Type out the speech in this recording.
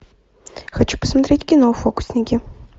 хочу посмотреть кино фокусники